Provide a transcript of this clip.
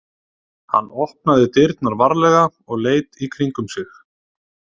Hann opnaði dyrnar varlega og leit í kringum sig.